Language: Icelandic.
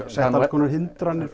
konar hindranir